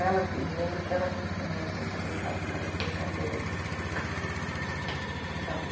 Ela que, eu me lembro que ela que ensinou a gente a brincar com aquelas brincadeiras... sabe